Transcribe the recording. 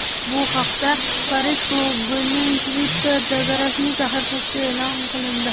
Bu haqda Parij klubining Twitter’dagi rasmiy sahifasida e’lon qilindi .